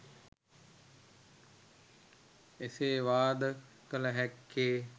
එසේ වාද කළ හැක්කේ